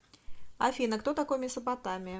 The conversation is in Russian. афина кто такой месопотамия